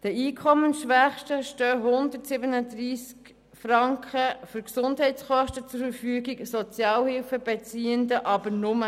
Den Einkommensschwächsten stehen 137 Franken für Gesundheitskosten zur Verfügung, den Sozialhilfebeziehenden aber nur 20 Franken.